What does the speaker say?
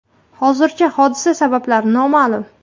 Hozircha hodisa sabablari noma’lum.